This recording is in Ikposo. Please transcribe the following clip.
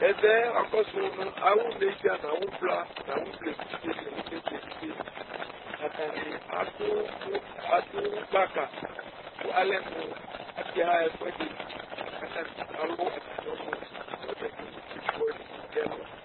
ɛvɛ wa kɔsu no awu nedza n'awu vla n'awu vla evidze ni n'awu nedza evidze ni atani adu adu gbaka kò alɛ mo aka ɣa ɛfu ɛdi k'atani alu atami ɔnu alo atami ifietso wani no ɛlu